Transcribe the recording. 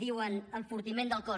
diuen enfortiment del cos